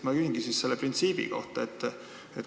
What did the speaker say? Ma küsingi ühe printsiibi kohta.